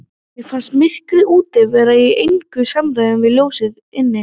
Mér fannst myrkrið úti vera í engu samræmi við ljósið inni.